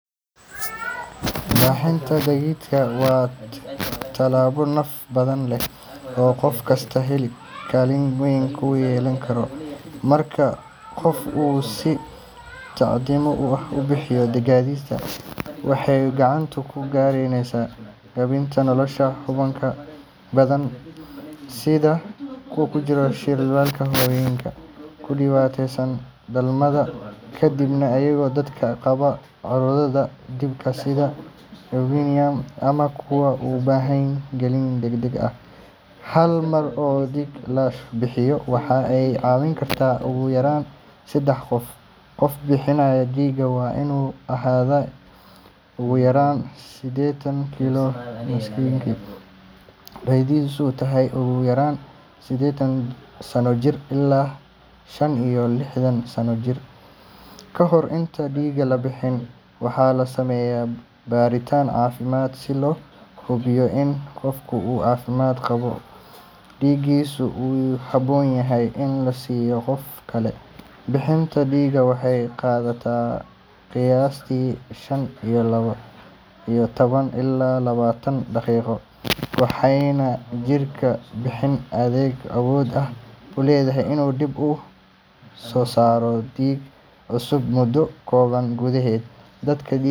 Bixinta dhiigga waa tallaabo naf-badbaadin ah oo qof kasta kaalin weyn ku yeelan karo. Marka qof uu si mutadawacnimo ah u bixiyo dhiiggiisa, waxa uu gacan ka geysanayaa badbaadinta nolosha bukaan badan sida kuwa ku jira shilalka, hooyooyinka ku dhiig-baxa dhalmada kadib, iyo dadka qaba cudurrada dhiigga sida leukemia ama kuwa u baahan qalliin degdeg ah. Hal mar oo dhiig la bixiyo waxa ay caawin kartaa ugu yaraan saddex qof. Qofka bixinaya dhiigga waa inuu ahaadaa ugu yaraan siddeetan kiilo miisaankiisu, da’diisuna tahay ugu yaraan siddeetan sano jir ilaa shan iyo lixdan sano. Kahor intaan dhiigga la bixin, waxaa la sameeyaa baaritaan caafimaad si loo hubiyo in qofku uu caafimaad qabo oo dhiiggiisu uu ku habboon yahay in la siiyo qof kale. Bixinta dhiigga waxay qaadataa qiyaastii shan iyo toban ilaa labaatan daqiiqo, waxaana jirka bini'aadamka awood u leeyahay inuu dib u soo saaro dhiig cusub muddo kooban gudaheed. Dadka dhiigga.